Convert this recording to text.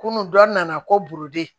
Kunun dɔ nana ko buruden